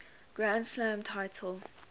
grand slam title